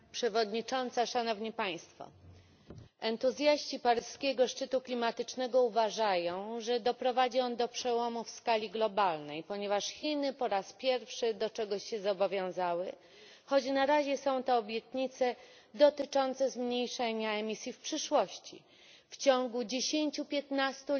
Pani Przewodnicząca! Entuzjaści paryskiego szczytu klimatycznego uważają, że doprowadzi on do przełomu w skali globalnej, ponieważ Chiny po raz pierwszy do czegoś się zobowiązały, choć na razie są to obietnice dotyczące zmniejszenia emisji w przyszłości. W ciągu dziesięciu piętnastu